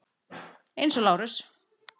Eins og Lárus.